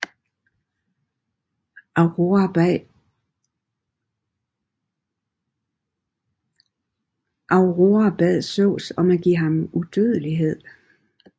Aurora bad Zeus om at give ham udødelighed